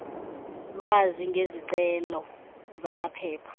lwazi ngezicelo zamaphepha